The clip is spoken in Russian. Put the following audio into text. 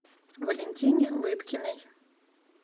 валентине лыткиной